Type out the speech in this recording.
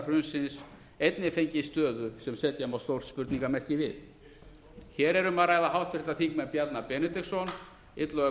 hrunsins einnig fengið stöðu sem setja má stórt spurningarmerki við hér er um að ræða háttvirts þingmanns bjarna benediktsson illuga